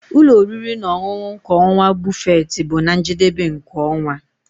Ụlọ oriri na ọṅụṅụ kwa ọnwa buffet bụ na njedebe nke ọnwa.